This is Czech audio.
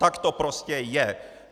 Tak to prostě je!